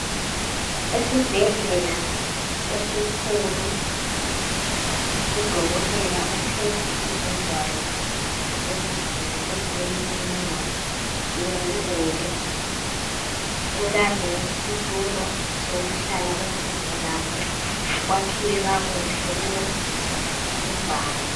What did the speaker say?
Esibhedlela esikhulu, udokotela uphethe izingwalo zeziguli ezilemininingwane yeziguli. Kulalesitulo sokuhlala kwezigulane. Kwakhiwe kakuhle kulezimbali.